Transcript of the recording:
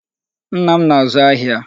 Nna m na-azụ ahịa.